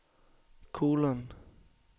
kolon